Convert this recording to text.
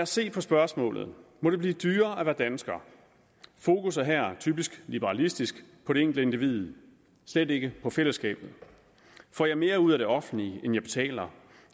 se på spørgsmålet må det blive dyrere at være dansker fokus er her typisk liberalistisk på det enkelte individ og slet ikke på fællesskabet får jeg mere ud af det offentlige end jeg betaler